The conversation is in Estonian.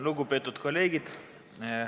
Lugupeetud kolleegid!